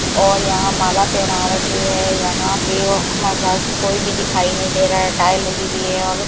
और यहां माला पहना रखी है यहां पे मगर कोई भी दिखाई नई दे रहा है टाइल लगी हुई है और --